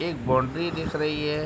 एक बोनड्री दिख रही है।